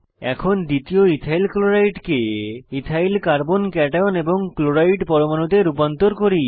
এখন দ্বিতীয় ইথাইল ক্লোরাইডকে ইথাইল কার্বন কাট্যায়ন এবং ক্লোরাইড পরমানুতে রূপান্তর করি